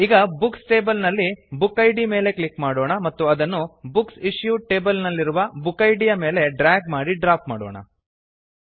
ಈಗ books table ನಲ್ಲಿ book id ಮೇಲೆ ಕ್ಲಿಕ್ ಮಾಡೋಣ ಮತ್ತು ಅದನ್ನು ಬುಕ್ಸ್ ಇಶ್ಯೂಡ್ ಟೇಬಲ್ ನಲ್ಲಿರುವ ಬುಕ್ ಇದ್ ಯ ಮೇಲೆ ಡ್ರ್ಯಾಗ್ ಮಾಡಿ ಡ್ರಾಪ್ ಮಾಡೋಣ